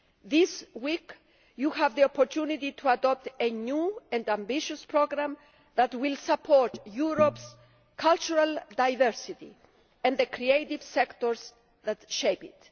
This week you have the opportunity to adopt a new and ambitious programme that will support Europe's cultural diversity and the creative sectors that shape it.